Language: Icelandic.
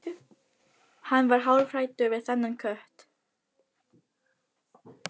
Hann varð hálfhræddur við þennan kött.